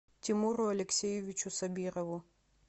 тимуру алексеевичу сабирову